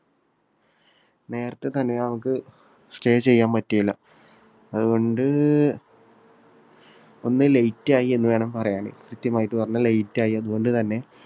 നേരത്തെ തന്നെ ഞങ്ങൾക്ക് stay ചെയ്യാൻ പറ്റിയില്ല. അതുകൊണ്ട് ഒന്ന് late ആയി എന്നുവേണം പറയാൻ. കൃത്യമായിട്ട് പറഞ്ഞാൽ late ആയി. അതുകൊണ്ടു തന്നെ